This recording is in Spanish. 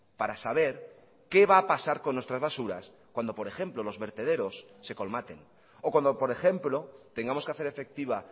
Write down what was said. para saber qué va a pasar con nuestras basuras cuando por ejemplo los vertederos se colmaten o cuando por ejemplo tengamos que hacer efectiva